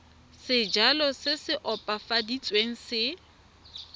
sejalo se se opafaditsweng se